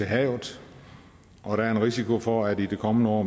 havet og der er en risiko for at de i det kommende år